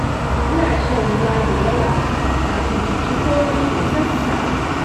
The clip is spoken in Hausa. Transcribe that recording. Ina shan ruwa da yawa, kafin in ci komai da sassafe.